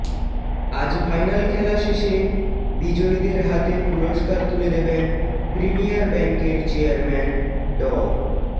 আজ ফাইনাল খেলা শেষে বিজয়ীদের হাতে পুরস্কার তুলে দেবেন প্রিমিয়ার ব্যাংকের চেয়ারম্যান ড